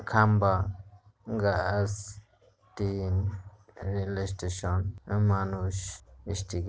খাম্বা গাছ টিম রেলওয়ে স্টেশন আর মানুষ স্টিগ --